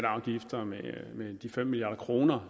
og afgifter med de fem milliard kr